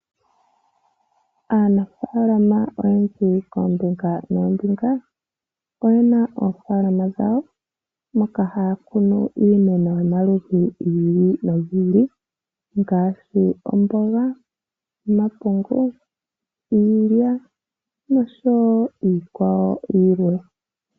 Aanafaalama oyendji koombinga noombinga oye na oofaalama dhawo moka haya kunu iimeno yomaludhi gi ili nogi ili ngaashi: omboga, omapungu, iilya nosho wo iikwawo yilwe.